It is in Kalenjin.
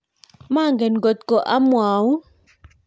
manget ngot ko amwaun